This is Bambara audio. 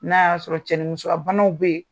N'a ya sɔrɔ cɛ ni muso ya banaw be yen